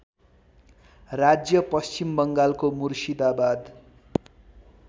राज्य पश्चिमबङ्गालको मुर्शिदाबाद